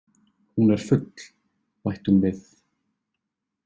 Hún er full, bætti hún við.